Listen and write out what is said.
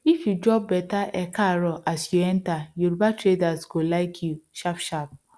if you drop better ekaaro as you enter yoruba traders go like you sharpsharp